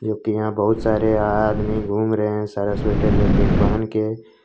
जोकि यहां बहुत सारे आ आदमी घूम रहे है सारा स्वेटर जैकेट पहनके।